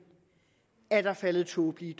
er der faldet tåbelige